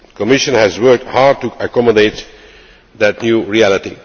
The Commission has worked hard to accommodate that new reality.